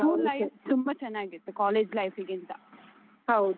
School life ತುಂಬ ಚೆನ್ನಾಗಿತ್ತು college life ಗಿಂತ ಹೌದು.